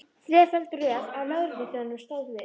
Þreföld röð af lögregluþjónum stóð við